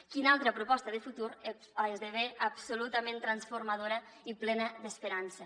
quina altra proposta de futur esdevé absolutament transformadora i plena d’esperança